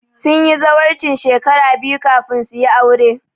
Sun yi zawarcin shekara biyu kafin su yi aure